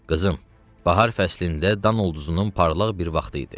Qızım, bahar fəslində dan ulduzunun parlaq bir vaxtı idi.